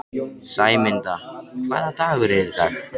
Sæmunda, hvaða dagur er í dag?